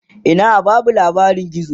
Ina Basu labarin gizo